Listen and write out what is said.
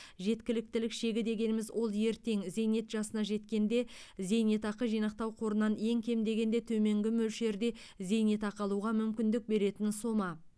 жеткіліктілік шегі дегеніміз ол ертең зейнет жасына жеткенде зейнетақы жинақтау қорынан ең кем дегенде төменгі мөлшерде зейнетақы алуға мүмкіндік беретін сома